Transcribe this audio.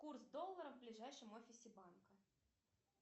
курс доллара в ближайшем офисе банка